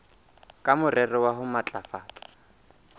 ka morero wa ho matlafatsa